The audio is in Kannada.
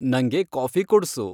ನಂಗೆ ಕಾಫಿ ಕೊಡ್ಸು